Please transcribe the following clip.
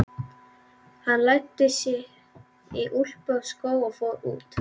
Hann læddi sér í úlpu og skó og fór út.